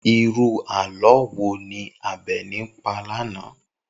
Irú àló̩ wo ni Àbè̩ní pa lánàá?